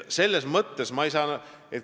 Ma ei saa teist aru.